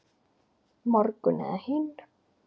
Morgun eða hinn.